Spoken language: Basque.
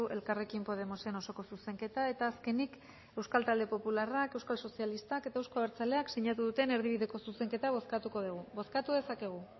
elkarrekin podemosen osoko zuzenketa eta azkenik euskal talde popularrak euskal sozialistak eta eusko abertzaleak sinatu duten erdibideko zuzenketa bozkatuko dugu bozkatu dezakegu